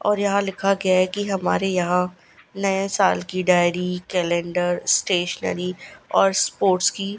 और यहां लिखा गया है कि हमारे यहां नए साल की डायरी कैलेंडर स्टेशनरी और स्पोर्ट्स की--